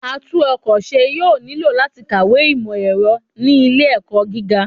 Atún-ọ̀kọ̀ ṣe yoo nilo lati kawe imọ-ẹrọ ni ile-ẹkọ gíga